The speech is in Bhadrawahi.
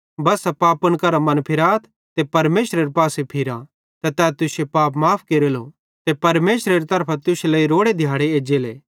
बस्सा पापन करां मनफिराथ ते परमेशरेरे पासे फिरा ते तै तुश्शे पाप माफ़ केरेलो ते परमेशरेरी तरफां तुश्शे लेइ परमेशरे तरफां रोड़े दिहाड़े एज्जेले